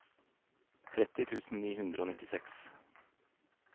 tretti tusen ni hundre og nittiseks